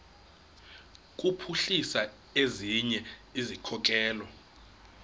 kuphuhlisa ezinye izikhokelo